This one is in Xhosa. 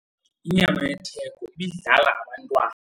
Inyama yetheko ibidlala abantwana.